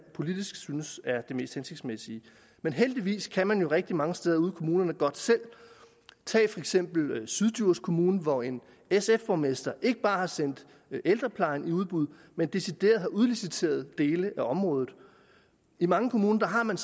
politisk synes er det mest hensigtsmæssige men heldigvis kan man jo rigtig mange steder ude i kommunerne godt selv tag for eksempel syddjurs kommune hvor en sf borgmester ikke bare har sendt ældreplejen i udbud men decideret har udliciteret dele af området i mange kommuner har man